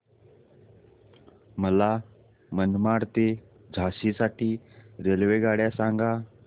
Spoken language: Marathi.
मला मनमाड ते झाशी साठी रेल्वेगाड्या सांगा